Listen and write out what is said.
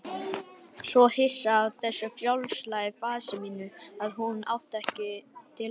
Svo hissa á þessu frjálslega fasi mínu að hún átti ekki til orð.